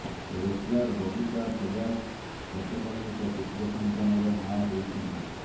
wrestler Babita Phogat ଗତକାଲି ଏକ ପୁତ୍ର ସନ୍ତାନର ମାଆ ହୋଇଛନ୍ତି